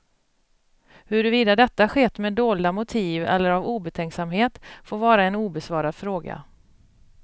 Huruvida detta skett med dolda motiv eller av obetänksamhet får vara en obesvarad fråga.